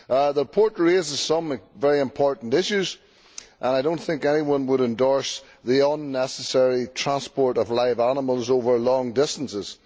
The report raises some very important issues, and I do not think anyone would endorse the unnecessary transport of live animals over long distances.